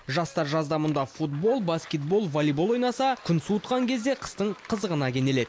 жастар жазда мұнда футбол баскетбол волейбол ойнаса күн суытқан кезде қыстың қызығына кенеледі